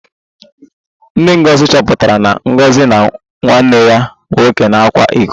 Nne Ngozi chọpụtara na Ngozi na nwanne ya nwoke na-akwa iko